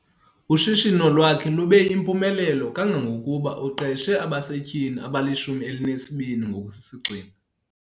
Ushishino lwakhe lube yimpumelelo kangangokuba uqeshe abasetyhini abali-12 ngokusisigxina.